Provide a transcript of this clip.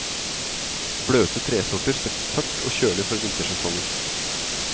Bløte tresorter settes tørt og kjølig for vintersesongen.